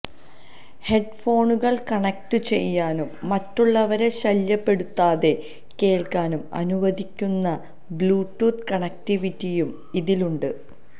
ഹെഡ്ഫോണുകൾ കണക്റ്റുചെയ്യാനും മറ്റുള്ളവരെ ശല്യപ്പെടുത്താതെ കേൾക്കാനും അനുവദിക്കുന്ന ബ്ലൂടൂത്ത് കണക്റ്റിവിറ്റിയും ഇതിലുണ്ട്